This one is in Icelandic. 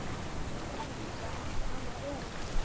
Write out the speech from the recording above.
Því Edda átti annað erindi.